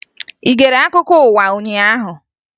Ị gere akụkọ ụwa ụnyaahụ?